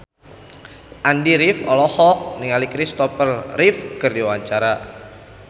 Andy rif olohok ningali Kristopher Reeve keur diwawancara